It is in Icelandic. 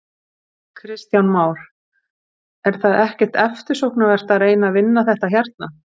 Kristján Már: Er það ekkert eftirsóknarvert að reyna að vinna þetta hérna?